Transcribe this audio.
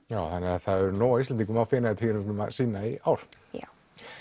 það verður nóg af Íslendingum á Feneyjatvíæringnum að sýna í ár já